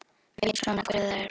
Veit svona hver það er.